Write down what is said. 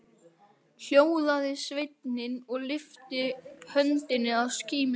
Hljóðaði sveinninn og lyfti höndinni að skímunni.